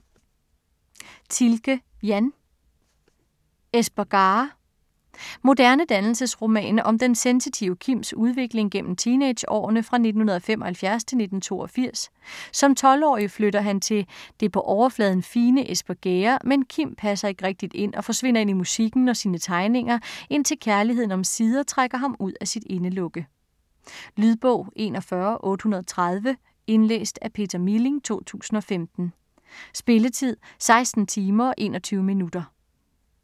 Thielke, Jan: Espegare Moderne dannelsesroman om den sensitive Kims udvikling gennem teenageårene fra 1975-1982. Som 12-årig flytter han til det på overfladen fine Espergærde, men Kim passer ikke rigtigt ind og forsvinder ind i musikken og sine tegninger, indtil kærligheden omsider trækker ham ud af sit indelukke. Lydbog 41830 Indlæst af Peter Milling, 2015. Spilletid: 16 timer, 21 minutter.